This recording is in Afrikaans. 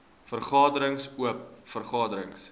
vergaderings oop vergaderings